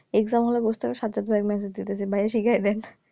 exam hall এ বস থাকতে শার্দুল ভাই message কইরাছে ভাইরে শিখায়ে দেন